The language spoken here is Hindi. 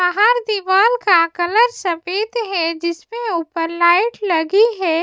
बाहर दीवाल का कलर सफेद है जिसमें ऊपर लाइट लगी है।